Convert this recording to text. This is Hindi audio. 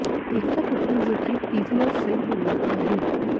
एकता कपूर जोकि एक टीवी और फिल्म निर्माता हैं